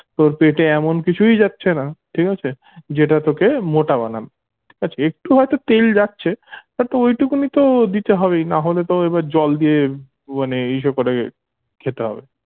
তোর পেটে এমন কিছুই যাচ্ছেনা ঠিক আছে যেটা তোকে মোটা বানাবে ঠিক আছে একটু হয়তো তেল যাচ্ছে but ঐটুকুনি তো দিতে হবেই নাহলেতো এবার জল দিয়ে মানে এসব করে খেতে হবে